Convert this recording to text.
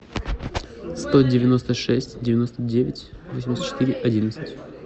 сто девяносто шесть девяносто девять восемьдесят четыре одиннадцать